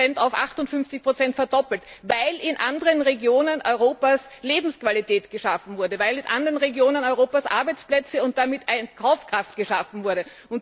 30 auf 58 verdoppelt, weil in anderen Regionen Europas Lebensqualität geschaffen wurde, weil in anderen Regionen Europas Arbeitsplätze und damit Kaufkraft geschaffen wurden.